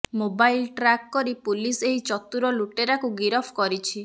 mobile track କରି police ଏହି ଚତୁର ଲୁଟେରାକୁ ଗିରଫ କରିଛି